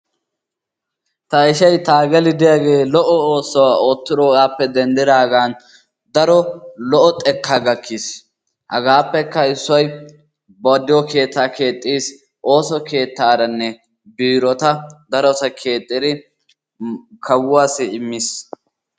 Ta ishay Taagali diyagee lo"o oosuwa oottiroogaappe denddiraagan daro lo"o xekkaa gakkiis. Hagaappekka issoy na diyo keettaa keexxiis, ooso keettaaranne biirota darota keexxidi kawuwassi immiis.